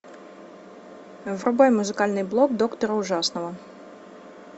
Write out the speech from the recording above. врубай музыкальный блок доктора ужасного